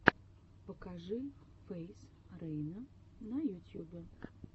покажи фейз рейна на ютьюбе